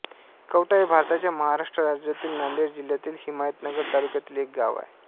कवठा हे भारताच्या महाराष्ट्र राज्यातील नांदेड जिल्ह्यातील हिमायतनगर तालुक्यातील एक गाव आहे